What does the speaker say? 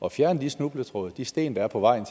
at fjerne de snubletråde de sten der er på vejen